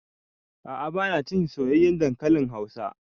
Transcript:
A'a ba na cin soyayyen dankalin hausa